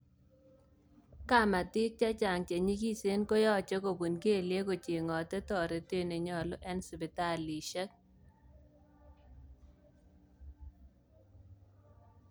Kamatik chechang chenyikisen koyoche kopun kelyeek kochengote toretet nenyolu en sipitalishek